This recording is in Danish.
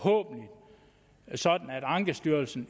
sådan at ankestyrelsen